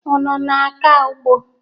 Unu na-aga ugbo?